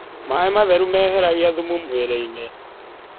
Maĩ matherũ meheragĩa thũmũ mwĩrĩĩnĩ